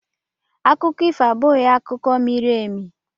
Akụkọ ifo abụghị akụkọ mere eme.